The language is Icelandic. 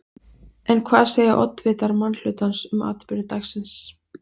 En hvað segja oddvitar minnihlutans um atburði dagsins?